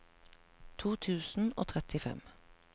to tusen og trettifem